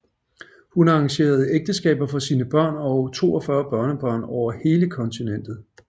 Hun arrangerede ægteskaber for sine børn og 42 børnebørn over hele kontinentet